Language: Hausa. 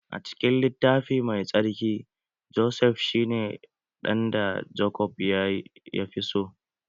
A cikin littafi mai tsarki, Josef shi ne ɗan da Jacob yafi so